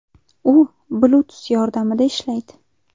U Bluetooth yordamida ishlaydi.